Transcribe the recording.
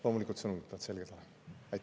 Loomulikult, sõnumid peavad selged olema.